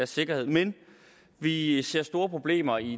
sikkerhed men vi ser store problemer i